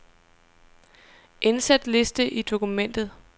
Indsæt liste i dokumentet.